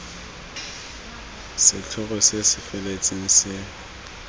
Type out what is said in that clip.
setlhogo se se feletseng se